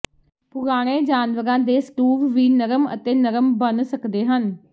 ਪੁਰਾਣੇ ਜਾਨਵਰਾਂ ਦੇ ਸਟੂਵ ਵੀ ਨਰਮ ਅਤੇ ਨਰਮ ਬਣ ਸਕਦੇ ਹਨ